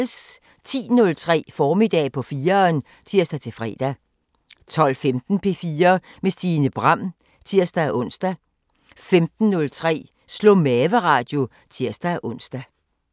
10:03: Formiddag på 4'eren (tir-fre) 12:15: P4 med Stine Bram (tir-ons) 15:03: Slå-mave-radio (tir-ons)